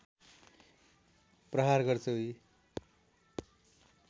प्रहार गर्छ उही